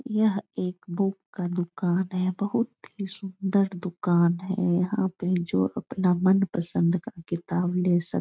यह एक बुक का दुकान है बहुत ही सुन्दर दुकान है यहाँ पे जो अपना मनपसंद का किताब ले सक --